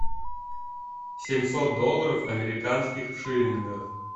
семьсот долларов американских в шиллингах